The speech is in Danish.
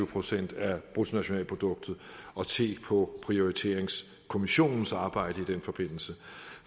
procent af bruttonationalproduktet og se på prioriteringskommissionens arbejde i den forbindelse